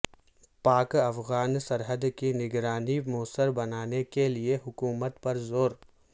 پاک افغان سرحد کی نگرانی موثر بنانے کے لیے حکومت پر زور